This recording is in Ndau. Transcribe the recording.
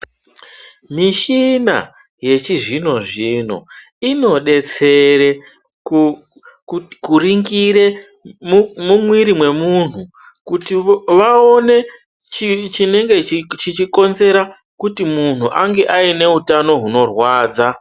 Mishina yechizvino zvino inodetsere kuringire mumwiri mwemuntu kuti vaone chinenge chichikonzera kuti muntu ange aine utano hunorwadza.